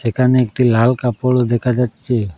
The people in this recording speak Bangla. এখানে একটি লাল কাপড়ও দেখা যাচ্ছে।